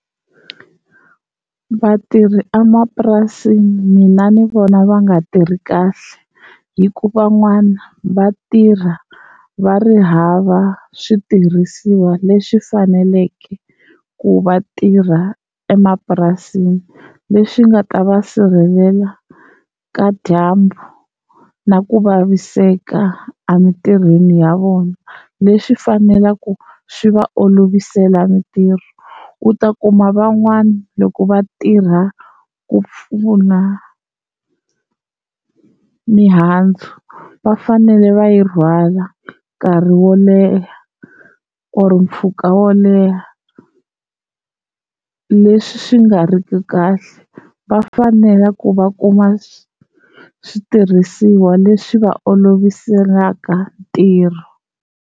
Vatirhi emapurasini mina ni vona va nga tirhi kahle hi ku van'wana va tirha va ri hava switirhisiwa leswi faneleke ku va tirha emapurasini, leswi nga ta va sirhelela ka dyambu na ku vaviseka emintirhweni ya vona leswi faneleke swi va olovisela mintirho. U ta kuma van'wana loko va tirha ku pfuna mihandzu va fanele va yi rhwala nkarhi wo leha or mpfhuka wo leha leswi swi nga riki kahle va fanela ku va kuma switirhisiwa leswi va oloviselaka ntirho.